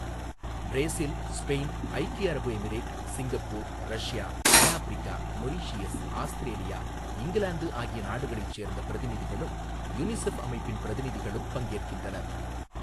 Brazil, Spain, ஐக்கிய அரபு Emirate, Singapore, Russia, தென்னாஃப்பிரிக்கா, மொரீசியஸ், ஆஸ்திரேலியா, இங்கிலாந்து ஆகிய நாடுகளைச் சேர்ந்த பிரதிநிதிகளும், யுனிஃசெப் அமைப்பின் பிரதிநிதிகளும் பங்கேற்கின்றனர்.